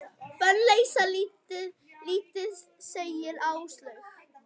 Bönn leysa lítið, segir Áslaug.